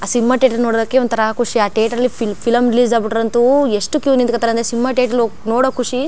ಆ cinema theatre ನೋಡಕ್ಕೆ ಒಂತರ ಖುಷಿ ಆ ಥಿಯೇಟರ್ ಫಿಲಂ ರಿಲೀಸ್ ಆಗ್ ಬಿಟ್ಟ್ರೆ ಅಂತು ಎಷ್ಟು ಕ್ಯೂ ನಿಂತ್ಕೊತರೇ ಸಿನಿಮಾ ಥಿಯೇಟರ್ ಹೋಗ್ ನೋಡೋ ಖುಷಿ.